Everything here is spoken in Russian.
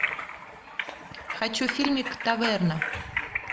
хочу фильмик таверна